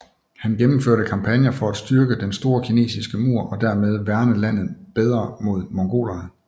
Han gennemførte kampagner for at styrke Den store kinesiske mur og dermed værne landet bedre mod mongolerne